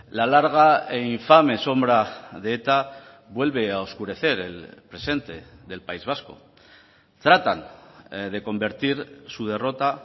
la larga e infame sombra de eta vuelve a oscurecer el presente del país vasco tratan de convertir su derrota